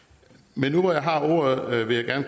men nu hvor jeg har ordet vil jeg